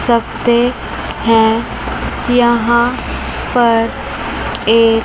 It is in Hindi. सब ते हैं यहां पर एक--